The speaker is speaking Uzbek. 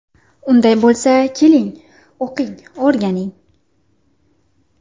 Unday bo‘lsa, keling, o‘qing, o‘rganing!